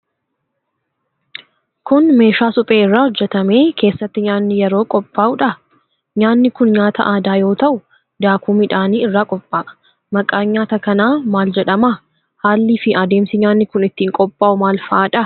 Kun, meeshaa suphee irraa hojjatamee keessatti nyaanni yeroo qophaa'udha? Nyaani kun, nyaata aadaa yoo ta'u, daakuu midhaanii irraa qopha'a. Maqaan nyaata kanaa maal jedhama? Haalli fi adeemsi nyaanni kun ittiin qophaa'u maal faadha?